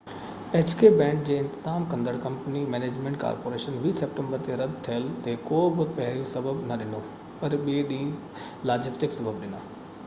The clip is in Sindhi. بينڊ جي انتظام ڪندڙ company hk management corporation 20 September تي رد ٿيل تي ڪو بہ پهريون سبب نہ ڏنو پر ٻي ڏينهن تي لاجسٽڪ سبب ڏنا